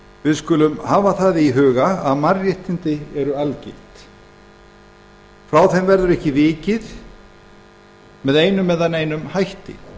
við skulum hafa í huga að mannréttindi eru algild frá þeim verður ekki vikið með einum eða neinum hætti